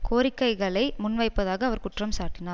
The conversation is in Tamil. கோரிக்கைகளை முன்வைப்பதாக அவர் குற்றம்சாட்டினார்